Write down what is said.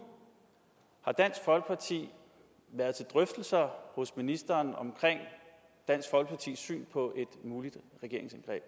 har dansk folkeparti været til drøftelser hos ministeren om dansk folkepartis syn på et muligt regeringsindgreb